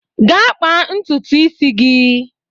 Gaa kpaa ntutu isi gị!